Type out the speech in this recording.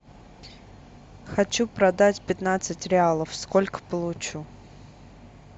хочу продать пятнадцать реалов сколько получу